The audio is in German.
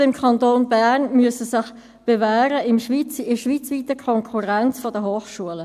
Die Berufsschulen im Kanton Bern müssen sich bewähren in der schweizweiten Konkurrenz der Hochschulen.